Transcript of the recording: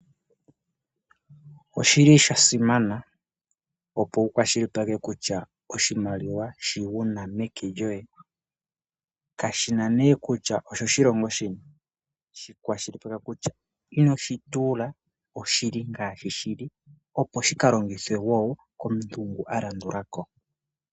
Oshi li sha simana opo wukwa shilipaleke kutya oshimaliwa shi wuna meke lyoye kashina ne kutya osho shilongo shini. Shi kwashilipaleka kutya inoshi tuula oshili ngaashi shili opo shi ka longithwe wo komuntu a landulako.